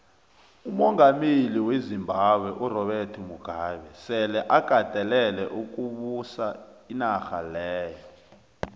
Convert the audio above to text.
umongameli wezimbabwe urobert mugabe sele akatelele ukubusa inarha leya